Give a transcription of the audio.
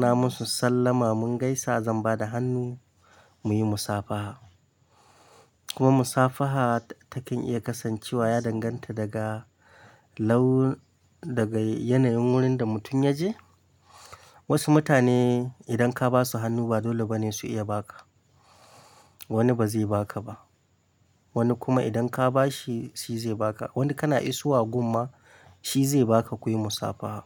na musu sallama mun gaisa zan ba da hannu muyi musafaha. Kuma musafaha takan iya kasancewa ya danganta daga laun-- daga yanayin wurin da mutum ya je. Wasu mutane idan ka ba su hannu ba dole bane su iya ba ka. Wani ba zai ba ka ba, wani kuma idan ka ba shi shi zai ba ka. Wani kana isowa gum ma, shi zai ba ka, kuyi musafaha.